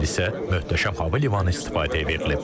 Bu il isə möhtəşəm hava limanı istifadəyə verilib.